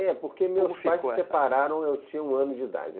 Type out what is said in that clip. É, porque meus pais se separaram, eu tinha um ano de idade.